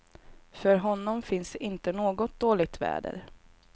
För honom finns inte något dåligt väder.